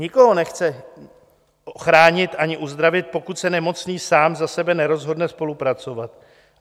Nikoho nechce chránit ani uzdravit, pokud se nemocný sám za sebe nerozhodne spolupracovat.